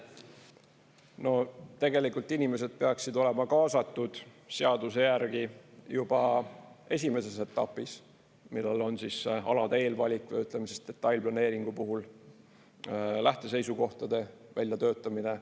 No tegelikult inimesed peaksid olema kaasatud seaduse järgi juba esimeses etapis, millal on see alade eelvalik, või ütleme siis, detailplaneeringu puhul lähteseisukohtade väljatöötamine.